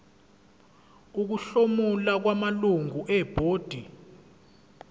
ukuhlomula kwamalungu ebhodi